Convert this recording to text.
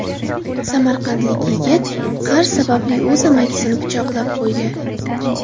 Samarqandlik yigit qarz sababli o‘z amakisini pichoqlab qo‘ydi.